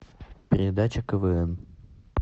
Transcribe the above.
передача квн